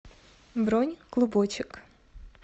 бронь клубочек